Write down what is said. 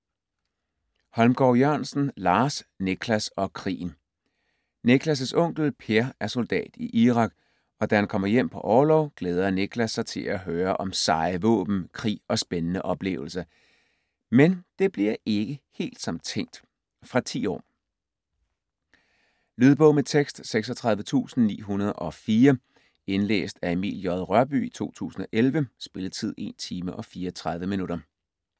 Holmgård Jørgensen, Lars: Nicklas og krigen Nicklas' onkel Per er soldat i Irak, og da han kommer hjem på orlov, glæder Nicklas sig til at høre om seje våben, krig og spændende oplevelser. Men det bliver ikke helt som tænkt. Fra 10 år. Lydbog med tekst 36904 Indlæst af Emil J. Rørbye, 2011. Spilletid: 1 timer, 34 minutter.